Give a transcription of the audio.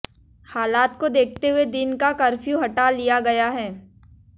हालात को देखते हुए दिन का कर्फ्यू हटा लिया गया है